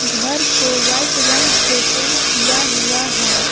घर को वाइट रंग से पेंट किया हुआ है।